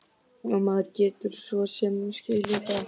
Og maður getur svo sem skilið það.